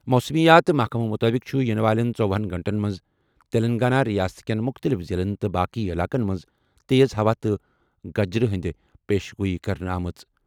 موسمیات محکمہٕ مُطٲبِق چھِ یِنہٕ والٮ۪ن ژوہنَ گھنٹَن منٛز تیٚلنٛگانہ رِیاست کٮ۪ن مُختٔلِف ضِلعن تہٕ باقٕے علاقن منٛز تیز ہوہٕ تہٕ گجٕرِ ہِنٛز پیشن گویی کرنہٕ یِوان۔